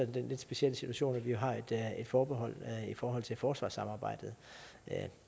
den lidt specielle situation at vi har et forbehold i forhold til forsvarssamarbejdet